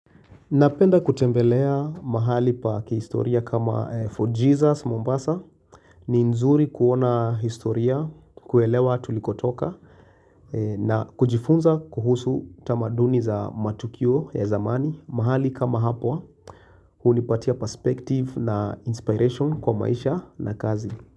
Napenda kutembelea mahali pa kihistoria kama Fort Jesus Mombasa ni nzuri kuona historia, kuelewa tulikotoka na kujifunza kuhusu tamaduni za matukio ya zamani mahali kama hapwa hunipatia perspective na inspiration kwa maisha na kazi.